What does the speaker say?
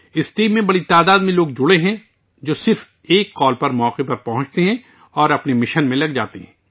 اس team سے بڑی تعداد میں لوگ وابستہ ہیں جو صرف ایک کال پر موقع پر پہنچ تے ہیں اور اپنے مشن میں شامل ہوجاتے ہیں